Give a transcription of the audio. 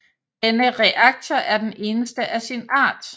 Denne reaktor er den eneste af sin art